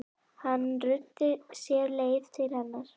Hann ruddi sér leið til hennar.